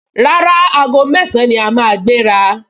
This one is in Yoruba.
Rárá, aago mẹ́ẹ̀sán ni a máa gbéra